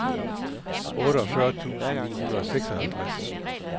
otteogfyrre tusind ni hundrede og seksoghalvtreds